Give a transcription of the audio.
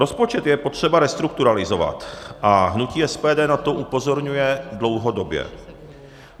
Rozpočet je potřeba restrukturalizovat a hnutí SPD na to upozorňuje dlouhodobě.